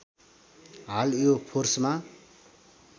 हाल यो फोर्समा